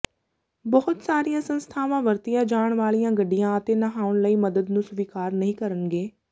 ਬਹੁਤ ਸਾਰੀਆਂ ਸੰਸਥਾਵਾਂ ਵਰਤੀਆਂ ਜਾਣ ਵਾਲੀਆਂ ਗੱਡੀਆਂ ਅਤੇ ਨਹਾਉਣ ਲਈ ਮੱਦਦ ਨੂੰ ਸਵੀਕਾਰ ਨਹੀਂ ਕਰਨਗੇ